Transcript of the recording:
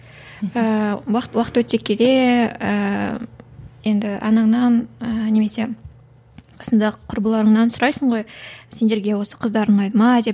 ііі уақыт өте келе ііі енді анаңнан ыыы немесе қасыңдағы құрбыларыңнан сұрайсың ғой сендерге осы қыздар ұнайды ма деп